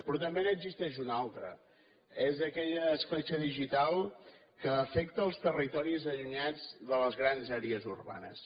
però també n’existeix una altra és aquella escletxa digital que afecta els territoris allunyats de les grans àrees urbanes